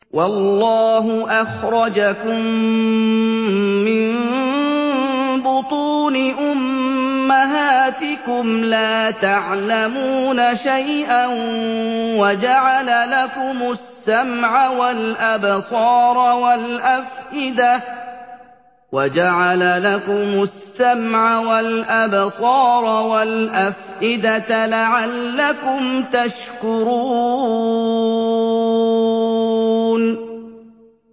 وَاللَّهُ أَخْرَجَكُم مِّن بُطُونِ أُمَّهَاتِكُمْ لَا تَعْلَمُونَ شَيْئًا وَجَعَلَ لَكُمُ السَّمْعَ وَالْأَبْصَارَ وَالْأَفْئِدَةَ ۙ لَعَلَّكُمْ تَشْكُرُونَ